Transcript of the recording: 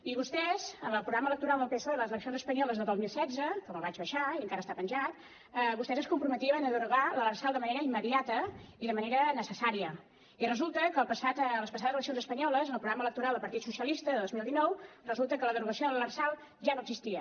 i vostès en el programa electoral del psoe a les eleccions espanyoles del dos mil setze que me’l vaig baixar i encara està penjat es comprometien a derogar l’lrsal de manera immediata i de manera necessària i resulta que a les passades eleccions espanyoles en el programa electoral del partit socialista del dos mil dinou resulta que la derogació de l’lrsal ja no existia